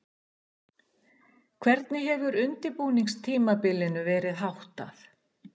Hvernig hefur undirbúningstímabilinu verið háttað?